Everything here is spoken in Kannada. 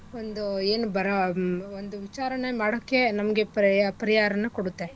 ಒಂದು ಏನ್ ಬರಹ ಒಂದು ವಿಚಾರಣಾ ಮಾಡಕ್ಕೆ ನಮ್ಗೆ ಪರಿ~ ಪರಿಹಾರನ ಕೊಡತ್ತೆ